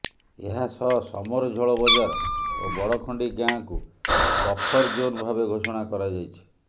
ଏହାସହ ସମରଝୋଳ ବଜାର ଓ ବଡଖଣ୍ଡି ଗାଆଁ କୁ ବଫର୍ ଜୋନ୍ ଭାବେ ଘୋଷଣା କରାଯାଇଛି